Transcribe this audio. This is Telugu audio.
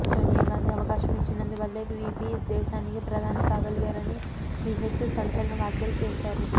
సోనియాగాంధీ అవకాశం ఇచ్చినందువల్లే వీపీ దేశానికి ప్రధాని కాగలిగారని వీహెచ్ సంచలన వ్యాఖ్యలు చేశారు